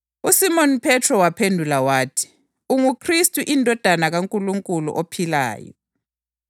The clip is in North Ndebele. UJesu waphendula wathi, “Ubusisiwe wena Simoni, ndodana kaJona ngoba lokhu kawukwambulelwanga ngumuntu wegazi lenyama kodwa nguBaba osezulwini.